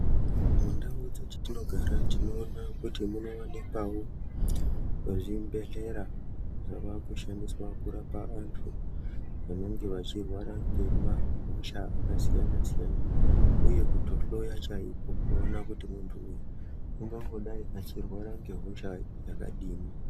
Mundau dzatinogara tinoonawo kuti muno wanikwawo mezvibhedhlera zvava kushandiswa kurapa vantu vanenge vachirwara ngema hosha akasiyana siyana uye kunohloya chaiko kuona kuti muntu uyu angangodai achirwara ngehosha iri.